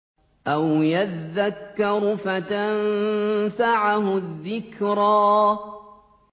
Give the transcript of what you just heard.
أَوْ يَذَّكَّرُ فَتَنفَعَهُ الذِّكْرَىٰ